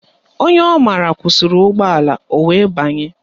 Onye ọ mara kwụsịrị ụgbọala o wee banye